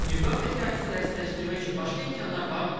Nüvə obyektlərini zərərsizləşdirmək üçün başqa imkanlar varmı?